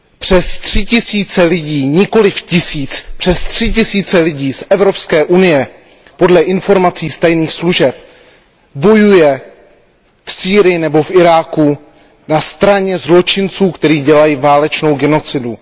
Přes tři tisíce lidí, nikoliv tisíc, přes tři tisíce lidí z Evropské unie podle informací tajných služeb bojuje v Sýrii nebo v Iráku na straně zločinců, kteří dělají válečnou genocidu.